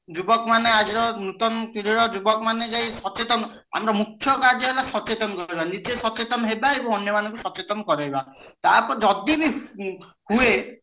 ଯୁବକ ମାନେ ଆଜିର ନୂତନ ପିଢୀ ର ଯୁବକ ମାନେ ଯାଇ ସଚେତନ ଆମ ମୁଖ୍ୟ କାର୍ଯ୍ୟ ହେଲା ସଚେତନ କରିବା ନିଜେ ସଚେତନ ହେବା ଏବଂ ଅନ୍ୟମାନଙ୍କୁ ସଚେତନ କରେଇବା ତା ପରେ ଯଦି ବି ହୁଏ